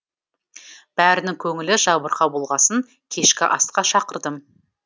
бәрінің көңілі жабырқау болғасын кешкі асқа шақырдым